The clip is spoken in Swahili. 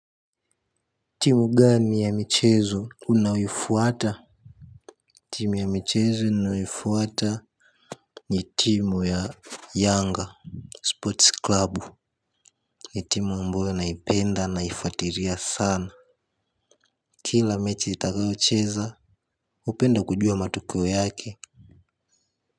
Timu gani ya michezo unayofuata? Timu ya michezo ninayofuata. Ni timu ya Yanga Sports Club. Ni timu ambayo naipenda naifuatiria sana. Kila mechi itakayocheza hupenda kujua matokeo yake.